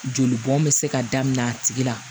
Joli bɔn bɛ se ka daminɛ a tigi la